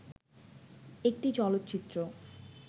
একটি চলচ্চিত্র